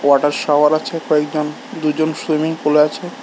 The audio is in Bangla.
কটা শাওয়ার আছে কয়েকজন দুজন সুইমিং পুলে আছে।